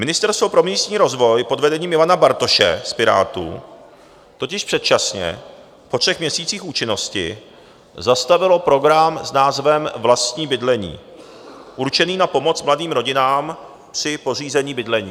Ministerstvo pro místní rozvoj pod vedením Ivana Bartoše z Pirátů totiž předčasně po třech měsících účinnosti zastavilo program s názvem Vlastní bydlení určený na pomoc mladým rodinám při pořízení bydlení.